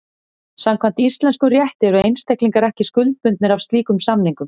Samkvæmt íslenskum rétti eru einstaklingar ekki skuldbundnir af slíkum samningum.